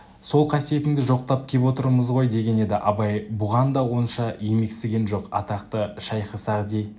сол қасиетіңді жоқтап кеп отырмыз ғой деген еді абай бұған да онша емексіген жоқ атақты шайхы-сағди